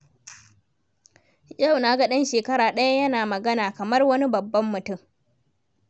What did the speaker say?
Yau na ga ɗan shekara ɗaya yana magana kamar wani babban mutum.